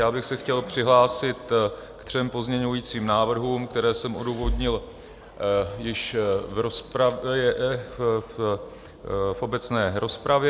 Já bych se chtěl přihlásit ke třem pozměňovacím návrhům, které jsem odůvodnil již v obecné rozpravě.